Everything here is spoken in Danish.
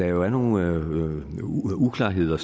er nogle uklarheder